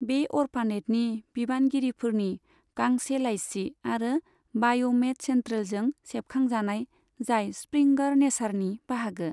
बे अर्फानेटनि बिबानगिरिफोरनि गांसे लाइसि आरो बाय'मेड सेन्ट्रेलजों सेबखांजानाय, जाय स्प्रिंगर नेचारनि बाहागो।